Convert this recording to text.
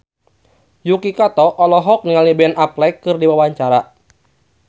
Yuki Kato olohok ningali Ben Affleck keur diwawancara